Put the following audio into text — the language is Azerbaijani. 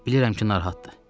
Bilirəm ki, narahatdır.